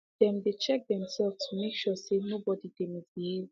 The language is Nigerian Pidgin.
them dey check theirselves to make sure say no body dey misbehave